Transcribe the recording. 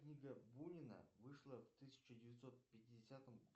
книга бунина вышла в тысяча девятьсот пятидесятом